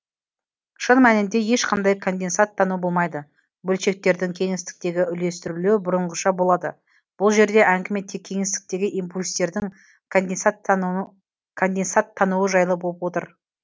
шын мәнінде ешқандай конденсаттану болмайды бөлшектердің кеңістіктегі үлестірілуі бұрынғыша болады бұл жерде әңгіме тек кеңістіктегі импульстердің конденсаттануы жайлы болып отыр